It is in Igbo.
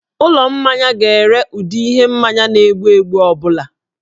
Ụlọ mmanya ga-ere ụdị ihe mmanya na-egbu egbu ọ bụla